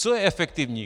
Co je efektivní?